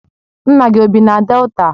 Nna gi o bi na Delta?